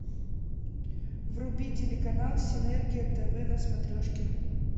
вруби телеканал синергия тв на смотрешке